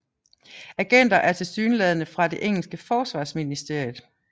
Agenter er tilsyneladende fra det engelske Forsvarsministeriet